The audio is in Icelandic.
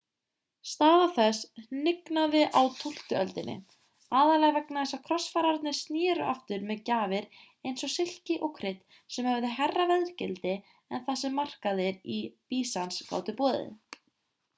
staða þess hnignaði á tólftu öldinni aðallega vegna þess að krossfararnir snéru aftur með gjafir eins og silki og krydd sem höfðu hærra verðgildi en það sem markaðir í býsans gátu boðið